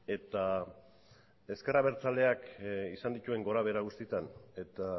eta ezker abertzaleak izan dituen gorabehera guztietan eta